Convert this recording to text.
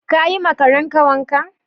Ka yi ma Karen wanka?